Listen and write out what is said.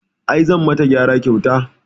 I, zanyi mata gyara kyauta